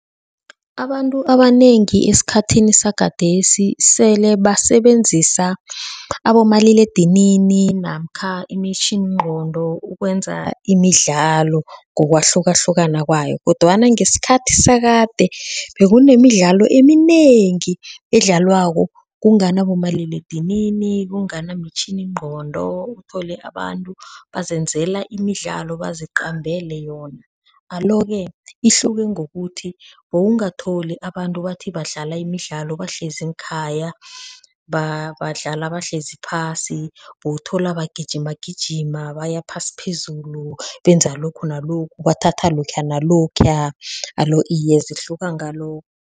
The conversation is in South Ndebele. Abantu abanengi esikhathini sagadesi sele basebenzisa abomaliledinini namkha imitjhiningqondo ukwenza imidlalo ngokwahlukahlukana kwayo kodwana ngesikhathi sakade bekunemidlalo eminengi edlalwako kungana bomaliledinini kungana mitjhininqondo uthole abantu bazenzela imidlalo baziqambele avele yona alo ke, ihluke ngokuthi bowungatholi abantu bathi badlala imidlalo bahlezi ngekhaya badlala bahlezi phasi, bowuthola bagijima gijima baya phasi phezulu, benza lokhu nalokhu, bathatha lokha nalokhuya, alo iye zihluka ngalokho.